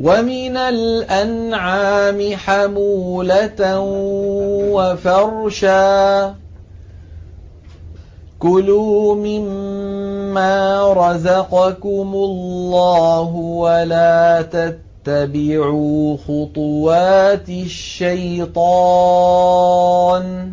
وَمِنَ الْأَنْعَامِ حَمُولَةً وَفَرْشًا ۚ كُلُوا مِمَّا رَزَقَكُمُ اللَّهُ وَلَا تَتَّبِعُوا خُطُوَاتِ الشَّيْطَانِ ۚ